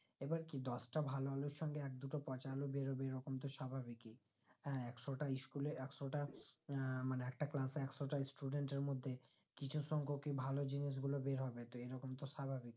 এবার কি দশটা ভালো আলুর সাথে এক-দুটো পচা আলু বেরোবেই এরকম তো স্বাভাবিকই হ্যাঁ একশো তা school এ একশোটা আহ মানে একটা class এ একশোটা student এর মধ্যে কিছু সংখকই ভালো জিনিস গুলো বেরহবে যেরকম তো স্বাভাবিক